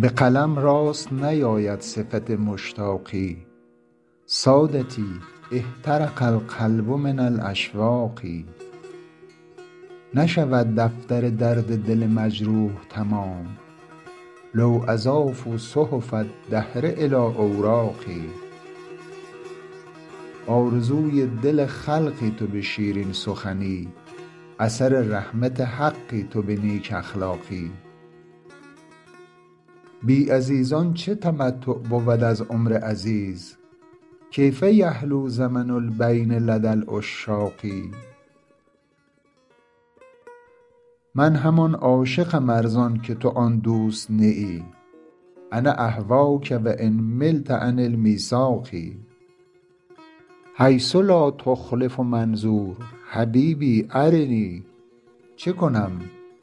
به قلم راست نیاید صفت مشتاقی سادتی احترق القلب من الاشواق نشود دفتر درد دل مجروح تمام لو اضافوا صحف الدهر الی اوراقی آرزوی دل خلقی تو به شیرین سخنی اثر رحمت حقی تو به نیک اخلاقی بی عزیزان چه تمتع بود از عمر عزیز کیف یحلو زمن البین لدی العشاق من همان عاشقم ار زان که تو آن دوست نه ای انا اهواک و ان ملت عن المیثاق حیث لا تخلف منظور حبیبی ارنی چه کنم